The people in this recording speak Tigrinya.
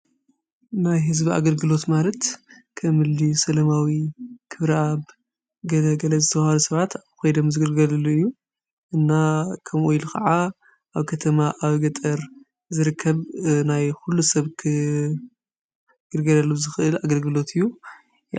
ናይ ሕዝቢ ኣገልግሎት ማለት ከም እኒ ሰለማዊ፣ ኽብረኣብ ገለገለ ዘተባሃሉ ሰባት ኣብኡ ኾይደም ዝግልገልሉ እዩ። እና ከምኡ ኢሉ ኸዓ ኣብ ከተማ ኣብ ገጠር ዘርከብ ናይ ዂሉ ሰብ ክግልገለሉ ዝኽእል ኣግርግሎት እዩ።